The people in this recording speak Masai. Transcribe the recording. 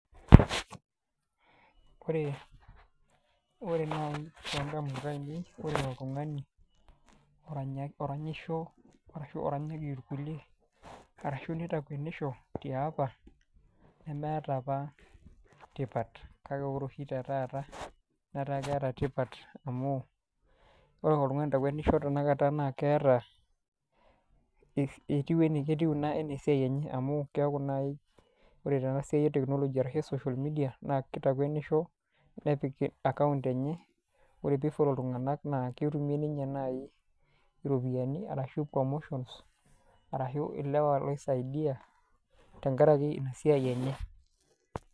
Wore naai toondamunot ainei, wore oltungani oranyisho arashu oranyaki irkulie, arashu nitakuenisho tiapa. Nemeeta apa tipat, kake wore oshi te taata, netaa keeta tipat amu, wore oltungani oitakuenisho tenakata naa keeta , etiu enaa ketiu ina enaa esiai enye amu keeku nai wore tenasiai e teknoji ashu social media, naa kitakuenisho, nepik account enye , wore pee I follow iltunganak naa ketumie ninye naai iropiyani arashu commotions, arashu ilewa loisaidia tenkaraki ina siai enye.